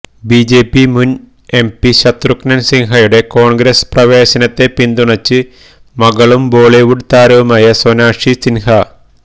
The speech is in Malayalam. ബിജെപി മുൻ എംപി ശത്രുഘ്നൻ സിൻഹയുടെ കോൺഗ്രസ് പ്രവേശനത്തെ പിന്തുണച്ച് മകളും ബോളിവുഡ് താരവുമായ സൊനാക്ഷി സിൻഹ